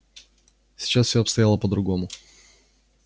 сейчас все обстояло по-другому